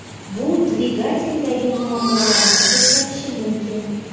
Bu dvigateldagi muammolarni ko‘rsatishi mumkin.